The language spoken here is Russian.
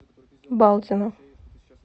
балдина